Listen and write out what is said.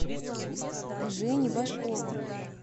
жене башкову